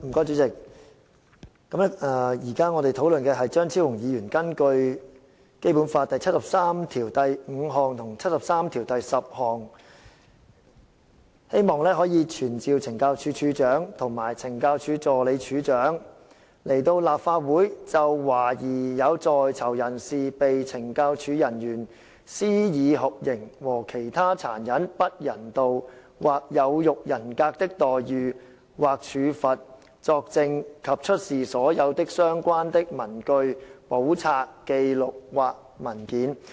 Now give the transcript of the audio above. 主席，我們現在討論的是張超雄議員根據《基本法》第七十三條第五項及第七十三條第十項動議的議案，傳召懲教署署長及懲教署助理署長到立法會席前，就懷疑有在囚人士被懲教署人員施以酷刑和其他殘忍、不人道或有辱人格的待遇或處罰作證及出示所有相關的文據、簿冊、紀錄或文件。